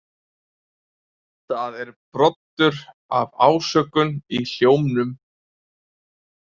Það er broddur af ásökun í hljómnum.